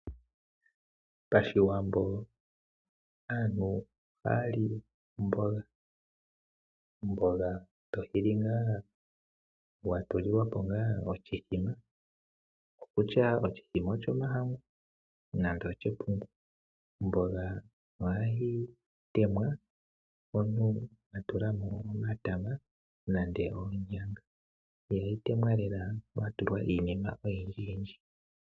Pashiwambo aantu ohayali omboga. Omboga to yili watulilwapo ngaa oshithima, kutya oshomahangu nenge oshepungu . Omboga ohayi telekwa omuntu atulamo omatama nenge onyanga ihayi telekwa lela komuntu atulamo iinima oyindji.